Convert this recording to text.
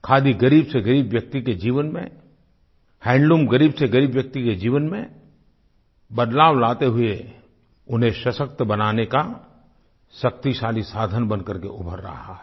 खादी ग़रीब से ग़रीब व्यक्ति के जीवन में हैंडलूम ग़रीब से ग़रीब व्यक्ति के जीवन में बदलाव लाते हुए उन्हें सशक्त बनाने का शक्तिशाली साधन बनकर के उभर रहा है